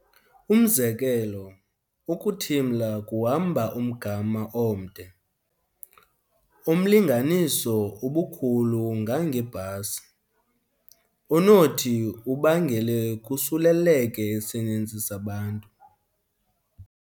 Umzekelo, ukuthimla kuhamba umgama omde, omlinganiso ubukhulu ngange bhasi, onothi ubangele kusuleleke isininzi sabantu.